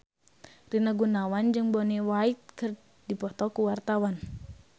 Rina Gunawan jeung Bonnie Wright keur dipoto ku wartawan